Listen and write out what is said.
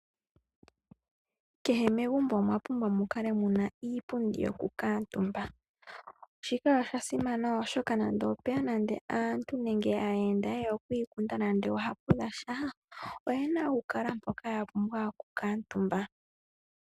Kehe megumbo omwa pumbwa mu kale muna iipundi yoku kaatumba. Shika osha simana oshoka nande opweya nande aantu nenge aayenda yeya oku ikunda nande oohapu dhasha, oyena okukala mpoka ya pumbwa oku kaatumba.